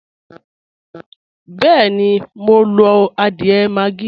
Bẹẹ́ni, mo ń lo adiẹ́ maggi